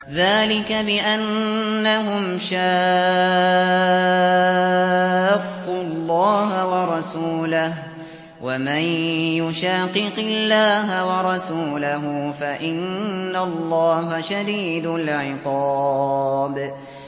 ذَٰلِكَ بِأَنَّهُمْ شَاقُّوا اللَّهَ وَرَسُولَهُ ۚ وَمَن يُشَاقِقِ اللَّهَ وَرَسُولَهُ فَإِنَّ اللَّهَ شَدِيدُ الْعِقَابِ